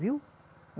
Viu?